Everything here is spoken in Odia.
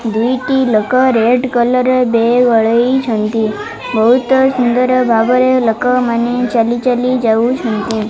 ଦୁଇଟି ଲୋକ ରେଡ୍ କଲର୍ ର ବ୍ୟାଗ୍ ଗଲେଇଛନ୍ତି ବହୁତ୍ ସୁନ୍ଦର୍ ଭାବରେ ଲୋକମାନେ ଚାଲି ଚାଲି ଯାଉଛନ୍ତି।